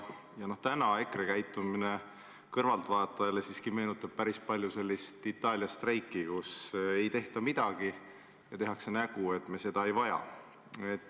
EKRE praegune käitumine meenutab kõrvaltvaatajale üsna palju sellist Itaalia streiki, kus ei tehta midagi, ainult tehakse nägu, et me seda ei vaja.